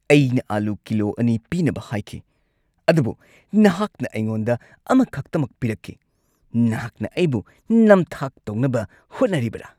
ꯑꯩꯅ ꯑꯂꯨ ꯀꯤꯂꯣ ꯲ ꯄꯤꯅꯕ ꯍꯥꯏꯈꯤ ꯑꯗꯨꯕꯨ ꯅꯍꯥꯛꯅ ꯑꯩꯉꯣꯟꯗ ꯑꯃꯈꯛꯇꯃꯛ ꯄꯤꯔꯛꯈꯤ꯫ ꯅꯍꯥꯛꯅ ꯑꯩꯕꯨ ꯅꯝꯊꯥꯛ ꯇꯧꯅꯕ ꯍꯣꯠꯅꯔꯤꯕꯔꯥ?